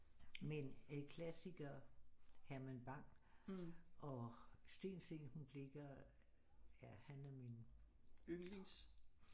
Men klassikere Herman Bang og Steen Steensen Blicher ja han er min